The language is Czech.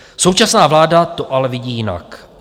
Současná vláda to ale vidí jinak.